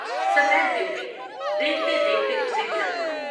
سفید دیو نے دیکھتے دیکھتے اسے گرالیا ۔